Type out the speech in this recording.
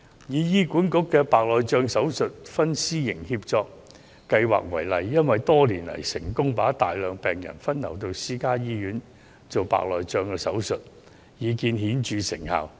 以醫管局推行的白內障手術公私營協作為例，多年來成功把大量病人分流到私營醫院進行手術，已見顯著成效。